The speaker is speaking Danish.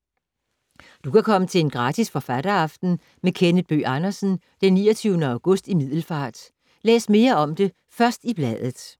Du kan komme til en gratis forfatteraften med Kenneth Bøgh Andersen den 29. august i Middelfart. Læs mere om det først i bladet.